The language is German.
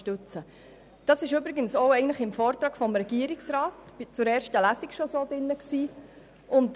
Übrigens war dies auch schon im Vortrag des Regierungsrats zur ersten Lesung so enthalten.